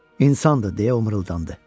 İnsandır, deyə mırıldandı.